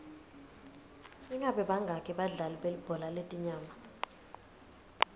ingabe bangaki badlali belibhola letinyawo